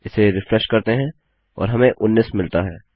इसे रिफ्रेश करते हैं और हमें 19 मिलता है